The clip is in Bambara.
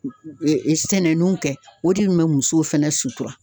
sɛnɛninw kɛ o de kun be muso fɛnɛ sutura.